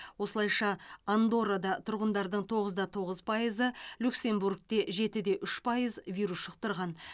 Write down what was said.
осылайша андоррада тұрғындардың тоғызда тоғыз пайызы люксембургте жетіде үш пайыз вирус жұқтырған